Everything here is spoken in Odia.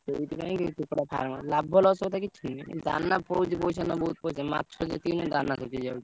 ସେଇଥି ପାଇଁ କୁକୁଡ଼ା farm ଲାଭ loss ମାଛ ବୋହୁତ ପଇସା ଦାନ ଯେତିକି ପଇଶା ବୋହୁତ ପଇସା ଦାନ ଯେତିକି ପଇସା ମାଛ ରେ ସେତିକି ନହିଁ।